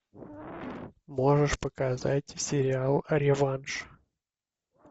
можешь показать сериал реванш